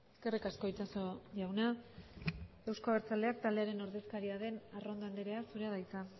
eskerrik asko itxaso jauna euzko abertzaleak taldearen ordezkaria den arrondo andrea zurea da hitza